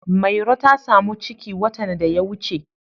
Mairo ta samu ciki watan da ya wuce.